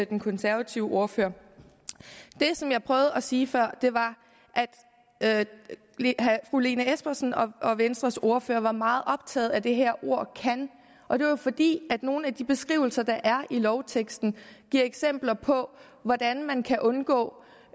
den konservative ordfører det som jeg prøvede at sige før var at fru lene espersen og venstres ordfører var meget optaget af det her ord kan og det var fordi nogle af de beskrivelser der er i lovteksten giver eksempler på hvordan man kan undgå